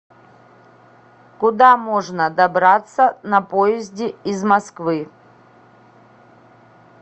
куда можно добраться на поезде из москвы